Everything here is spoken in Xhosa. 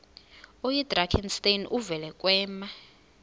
oyidrakenstein uvele kwema